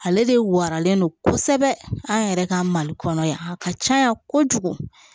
Ale de waralen don kosɛbɛ an yɛrɛ ka mali kɔnɔ yan a ka caya kojugu